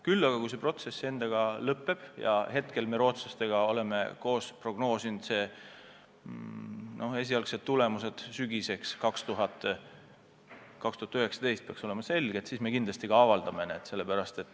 Küll aga, kui see protsess on lõppenud – me oleme koos rootslastega prognoosinud, et esialgsed tulemused peaks sügiseks 2019 selged olema –, siis me kindlasti ka avaldame need.